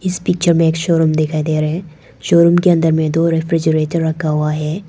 इस पिक्चर में एक शोरूम दिख रहा है शोरूम के अंदर में दो रेफ्रिजरेटर रखा हुआ है।